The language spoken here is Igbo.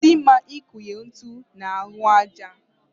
Ọ dịghị mma ikunye ntu n'ahụ aja.